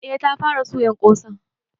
Eh ta fara suyan ƙosan.